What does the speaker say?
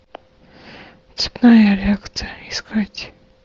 цепная реакция искать